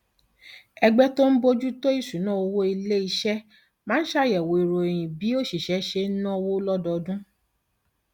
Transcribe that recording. ẹgbẹ tó ń bójú tó ìṣúnná owó ilé iṣẹ máa ń ṣàyẹwò ìròyìn bí òṣìṣẹ ṣe ń náwó lọdọọdún